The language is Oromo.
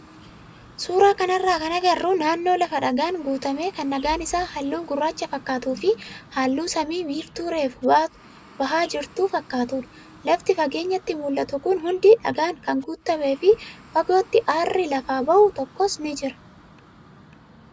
Suuraa kanarraa kan agarru naannoo lafa dhagaan guutame kan dhagaan isaa halluu gurraacha fakkaatuu fi halluun samii immoo biiftuu reefu bahaa jirtu fakkaatudha. Lafti fageenyatti mul'atu kun hundi dhagaan kan guutamee fi fagootti aarri lafaa bahu tokkos ni jira.